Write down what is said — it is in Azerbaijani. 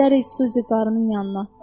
Gedərik Suzi qarının yanına.